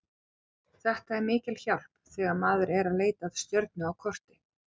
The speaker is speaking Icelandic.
Þetta er mikil hjálp þegar maður er að leita að stjörnu á korti.